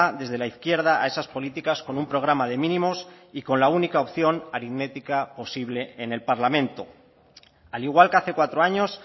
desde la izquierda a esas políticas con un programa de mínimos y con la única opción aritmética posible en el parlamento al igual que hace cuatro años